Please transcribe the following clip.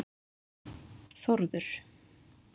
Þórður